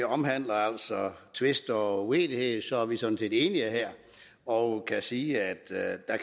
omhandler tvister og uenighed er vi sådan set enige her og kan sige at